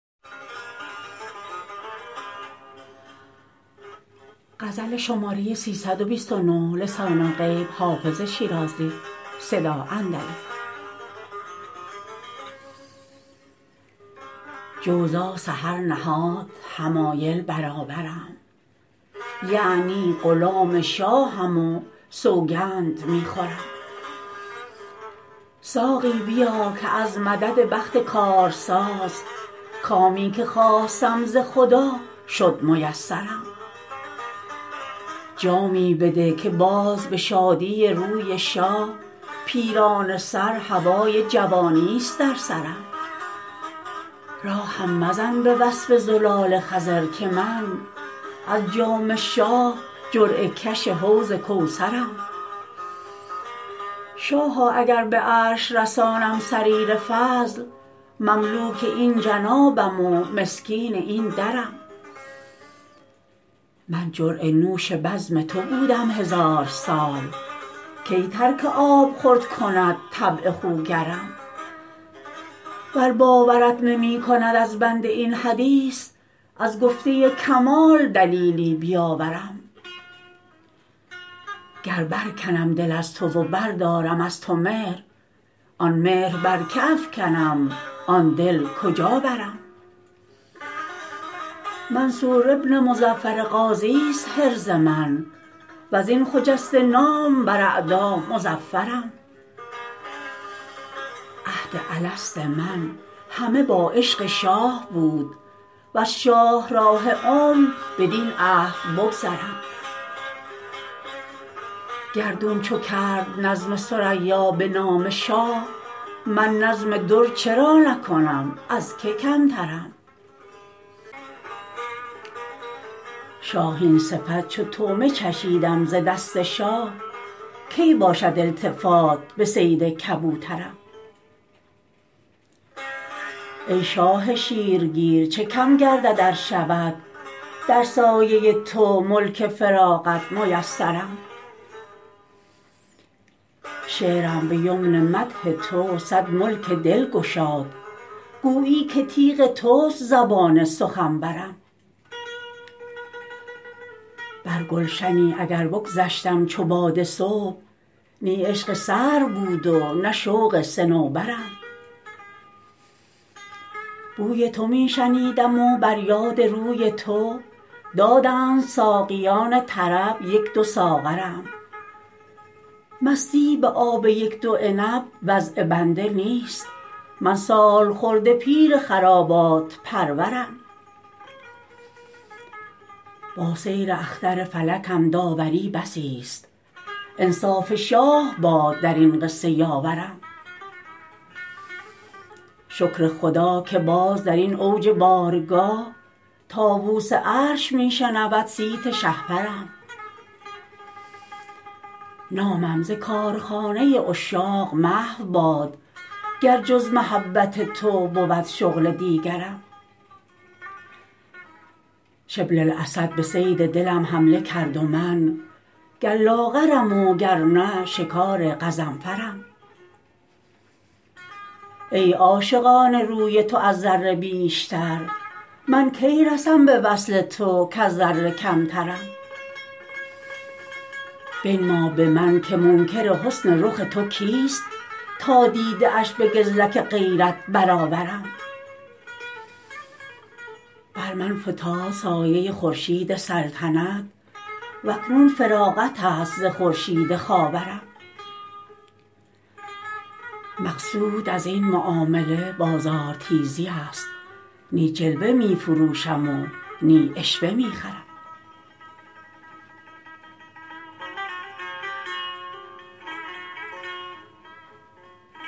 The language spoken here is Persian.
جوزا سحر نهاد حمایل برابرم یعنی غلام شاهم و سوگند می خورم ساقی بیا که از مدد بخت کارساز کامی که خواستم ز خدا شد میسرم جامی بده که باز به شادی روی شاه پیرانه سر هوای جوانیست در سرم راهم مزن به وصف زلال خضر که من از جام شاه جرعه کش حوض کوثرم شاها اگر به عرش رسانم سریر فضل مملوک این جنابم و مسکین این درم من جرعه نوش بزم تو بودم هزار سال کی ترک آبخورد کند طبع خوگرم ور باورت نمی کند از بنده این حدیث از گفته کمال دلیلی بیاورم گر برکنم دل از تو و بردارم از تو مهر آن مهر بر که افکنم آن دل کجا برم منصور بن مظفر غازیست حرز من و از این خجسته نام بر اعدا مظفرم عهد الست من همه با عشق شاه بود وز شاهراه عمر بدین عهد بگذرم گردون چو کرد نظم ثریا به نام شاه من نظم در چرا نکنم از که کمترم شاهین صفت چو طعمه چشیدم ز دست شاه کی باشد التفات به صید کبوترم ای شاه شیرگیر چه کم گردد ار شود در سایه تو ملک فراغت میسرم شعرم به یمن مدح تو صد ملک دل گشاد گویی که تیغ توست زبان سخنورم بر گلشنی اگر بگذشتم چو باد صبح نی عشق سرو بود و نه شوق صنوبرم بوی تو می شنیدم و بر یاد روی تو دادند ساقیان طرب یک دو ساغرم مستی به آب یک دو عنب وضع بنده نیست من سالخورده پیر خرابات پرورم با سیر اختر فلکم داوری بسیست انصاف شاه باد در این قصه یاورم شکر خدا که باز در این اوج بارگاه طاووس عرش می شنود صیت شهپرم نامم ز کارخانه عشاق محو باد گر جز محبت تو بود شغل دیگرم شبل الاسد به صید دلم حمله کرد و من گر لاغرم وگرنه شکار غضنفرم ای عاشقان روی تو از ذره بیشتر من کی رسم به وصل تو کز ذره کمترم بنما به من که منکر حسن رخ تو کیست تا دیده اش به گزلک غیرت برآورم بر من فتاد سایه خورشید سلطنت و اکنون فراغت است ز خورشید خاورم مقصود از این معامله بازارتیزی است نی جلوه می فروشم و نی عشوه می خرم